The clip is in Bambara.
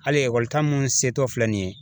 Hali ta mun se tɔ filɛ nin ye.